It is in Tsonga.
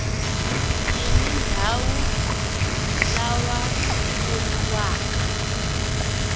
yini ndhawu lawa i voniwaka